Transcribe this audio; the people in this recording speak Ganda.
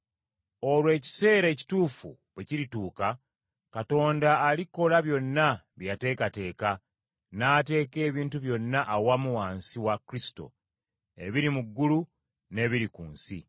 Olwo ekiseera ekituufu bwe kirituuka, Katonda alikola byonna bye yateekateeka, n’ateeka ebintu byonna awamu wansi wa Kristo, ebiri mu ggulu n’ebiri ku nsi.